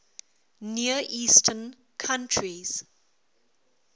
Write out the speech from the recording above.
near eastern countries